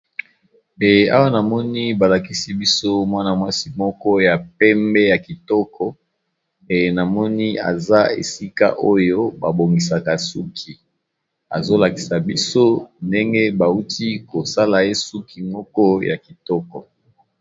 Awa namoni balakisi biso mwana-mwasi moko ya pembe. Ya kitoko pe namoni aza esika oyo babongisaka suki azolakisa biso ndenge ba uti kosala ye suki moko ya kitoko.